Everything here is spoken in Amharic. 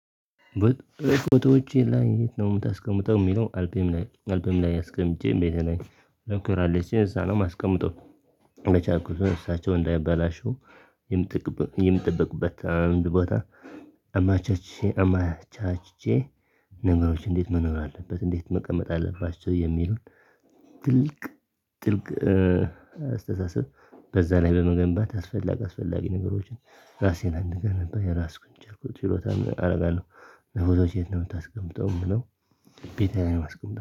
በትርፍ ቦታዎች ላይ የት ነው የምታስቀምጠው የሚለው አልበም ላይ አልበም ላይ አስቀምጬ ቤቴ ነኝ እዛ ነው የማስቀመው። በቻልኩት መጠን እሳቸው እንዳያበላሹ የምጠበቅበት አንድ ቦታ። አመቻችቼ አመቻችቼ ነገሮች እንዴት መኖር አለበት እንዴት መቀመጥ አለባቸው የሚሉን ትልቅ ጥልቅ አስተሳሰብ በዛ ላይ በመገንባት አስፈላጊ አስፈላጊ ነገሮችን ራሴን እንድገነባ የቻልኩትን ችሎታ አደርጋለሁ። ለፎቶችህ የት ነው የምታስቀምጠው? ቤቴ ላይ ነው የማስቀምጠው